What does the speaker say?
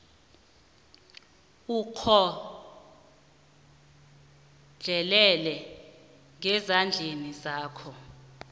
ukhohlelele ngezandleni zakho